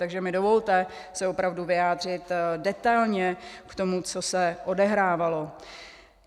Takže mi dovolte se opravdu vyjádřit detailně k tomu, co se odehrávalo.